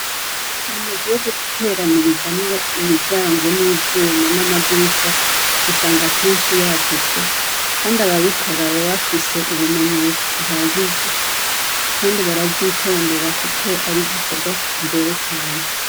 Amazu yo guteranirizamwo imiryango n'ivyuma n'amadirisha usanga keshi yagutse kandi ababikora baba bafise ubumenyi buhagije kandi baravyitondera kuko ari igikorwa kigoye cane.